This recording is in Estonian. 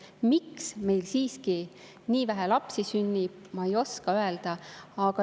Miks meil siiski nii vähe lapsi sünnib, ma ei oska öelda.